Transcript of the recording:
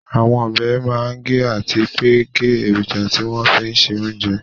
Àwọn ọbẹ̀ máa ń gé àti pé ń gé èròjà tí wọ́n fín se oúnjẹ